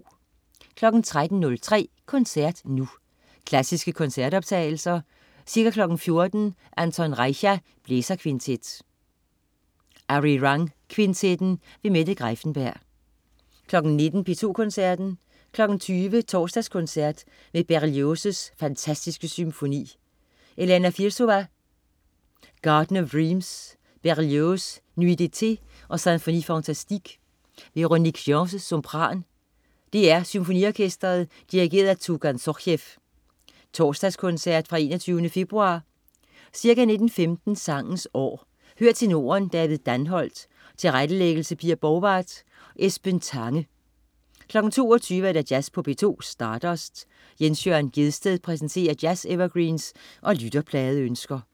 13.03 Koncert Nu. Klassiske koncertoptagelser. Ca. 14.00 Anton Reicha: Blæserkvintet. Arirang Kvintetten. Mette Greiffenberg 19.00 P2 Koncerten. 20.00 Torsdagskoncert med Berlioz' Fantastiske Symfoni. Elena Firsova: Garden of Dreams. Berlioz: Nuits d'Eté og Symphonie fantastique. Véronique Gens, sopran. DR Symfoniorkestret. Dirigent: Tugan Sokhiev. (Torsdagskoncert fra 21. februar). Ca. 19.15 Sangens År. Hør tenoren David Danholt. Tilrettelæggelse: Pia Borgwardt. Esben Tange 22.00 Jazz på P2. Stardust. Jens Jørn Gjedsted præsenterer jazz-evergreens og lytterpladeønsker